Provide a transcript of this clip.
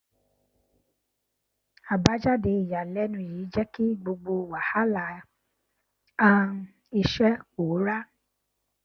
àbájáde ìyànilẹnu yìí jẹ kí gbogbo wàhálà um iṣẹ pòórá